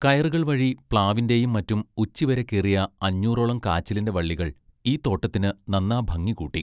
കയറുകൾ വഴി പ്ലാവിന്റെയും മറ്റും ഉച്ചിവരെ കേറിയ അഞ്ഞൂറോളും കാച്ചിലിന്റെ വള്ളികൾ ഈ തോട്ടത്തിന് നന്നാ ഭംഗികൂട്ടി.